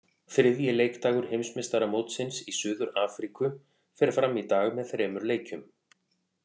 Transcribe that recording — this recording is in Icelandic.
Þriðji leikdagur Heimsmeistaramótsins í Suður Afríku fer fram í dag með þremur leikjum.